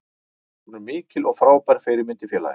Hún er mikil og frábær fyrirmynd í félaginu.